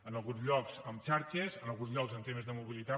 en alguns llocs amb xarxes en alguns llocs amb temes de mobilitat